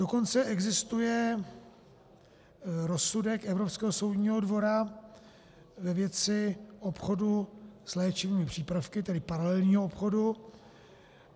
Dokonce existuje rozsudek Evropského soudního dvora ve věci obchodu s léčivými přípravky, tedy paralelního obchodu.